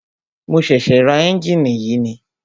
Mo ṣẹ̀ṣẹ̀ ra ẹ́njìnì yìí ni.